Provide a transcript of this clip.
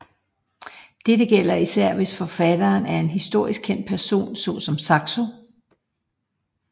Dette gælder især hvis forfatteren er en historisk kendt person så som Saxo